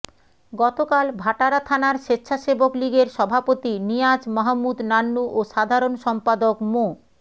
গতকাল ভাটারা থানার স্বেচ্ছাসেবক লীগের সভাপতি নিয়াজ মাহমুদ নান্নু ও সাধারণ সম্পাদক মো